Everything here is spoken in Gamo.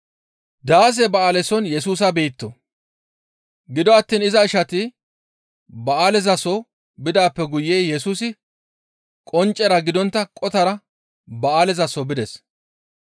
Gido attiin iza ishati ba7aalezaso bidaappe guye Yesusi qonccera gidontta qotara ba7aalezaso bides.